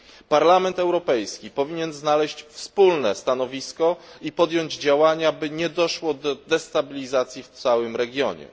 Parlament Europejski powinien znaleźć wspólne stanowisko i podjąć działania, aby nie doszło do destabilizacji w całym regionie.